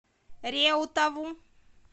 реутову